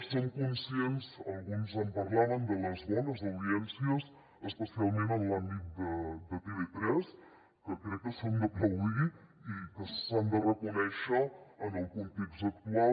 som conscients alguns en parlaven de les bones audiències especialment en l’àmbit de tv3 que crec que són d’aplaudir i que s’han de reconèixer en el context actual